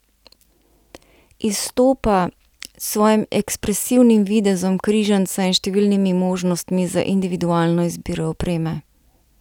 Izstopa s svojim ekspresivnim videzom križanca in številnimi možnostmi za individualno izbiro opreme.